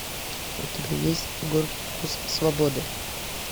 у тебя есть горький вкус свободы